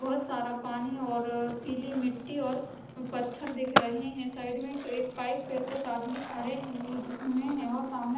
बहोत सारा पानी और पिली मिट्टी और पत्थर दिख रहे है साइड में एक पाइप है कुछ आदमी खडे हुए जिस मे है और सामने--